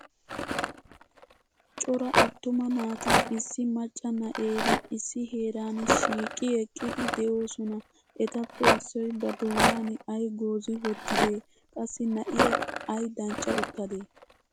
Cora attuma naati issi macca na'eera issi heeran shiiqi eqqidi de'oosona. Etappe issoy ba doonan ay goozi wottidee? Qassi na'iya ay dancca uttadee?